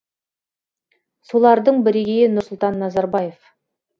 солардың бірегейі нұрсұлтан назарбаев